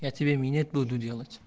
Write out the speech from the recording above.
я тебе минет буду делать